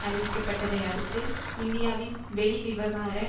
அறிவிக்கப்பட்டதை அடுத்து இந்தியாவின் வெளிவிவகார